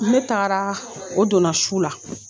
Ne taara o donna su la.